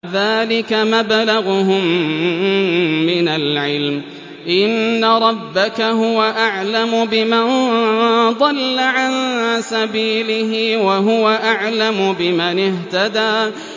ذَٰلِكَ مَبْلَغُهُم مِّنَ الْعِلْمِ ۚ إِنَّ رَبَّكَ هُوَ أَعْلَمُ بِمَن ضَلَّ عَن سَبِيلِهِ وَهُوَ أَعْلَمُ بِمَنِ اهْتَدَىٰ